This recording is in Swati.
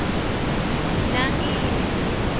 nangiya